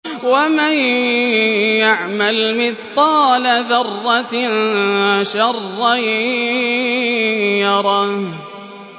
وَمَن يَعْمَلْ مِثْقَالَ ذَرَّةٍ شَرًّا يَرَهُ